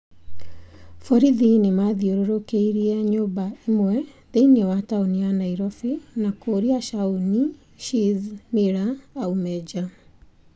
Borithi nĩ maathiũrũrũkĩirie nyũmba ĩmwe thĩinĩ wa tauni ya Nairobi na kuuria Shaun "Shizz" Miller aume nja.